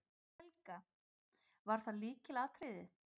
Helga: Það var lykilatriðið?